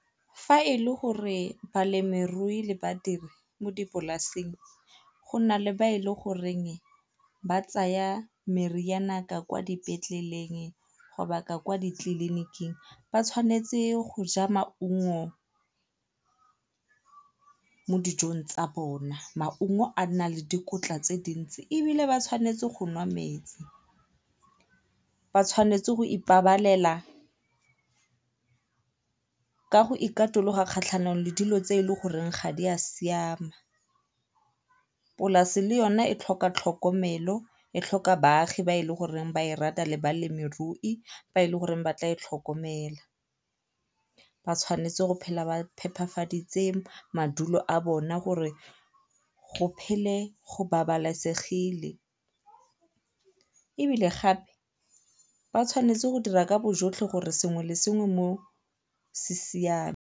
Fa e le gore balemirui le badiri mo dipolaseng go na le ba e le goreng ba tsaya ka kwa dipetleleng go ka kwa ditleliniking, ba tshwanetse go ja maungo mo dijong tsa bona. Maungo a na le dikotla tse dintsi ebile ba tshwanetse go nwa metsi. Ba tshwanetse go ipabalela ka go ikatologa kgatlhanong le dilo tse e leng gore ga di a siama. Polase le yona e tlhoka tlhokomelo, e tlhoka baagi ba e leng gore ba e rata le balemirui ba e leng gore ba tla e tlhokomela. Ba tshwanetse go phela ba phepafaditse madulo a bona gore go phele go babalesegile ebile gape ba tshwanetse go dira ka bo jotlhe gore sengwe le sengwe mo se siame.